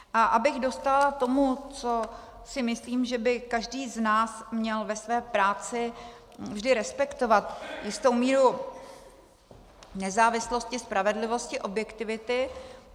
A abych dostála tomu, co si myslím, že by každý z nás měl ve své práci vždy respektovat, jistou míru nezávislosti, spravedlivosti, objektivity.